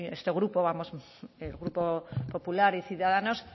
este grupo vamos el grupo popular y ciudadanos